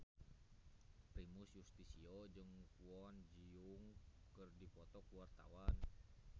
Primus Yustisio jeung Kwon Ji Yong keur dipoto ku wartawan